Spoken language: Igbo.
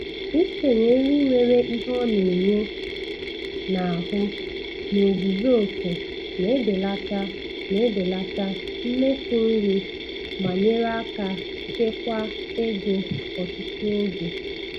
Ikenye nri nwere ihe ọ na-enye n'ahụ n'ozuzu oke na-ebelata na-ebelata mmefu nri ma nyere aka chekwaa ego ọtụtụ oge